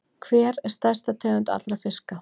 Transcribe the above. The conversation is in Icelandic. Hver er stærsta tegund allra fiska?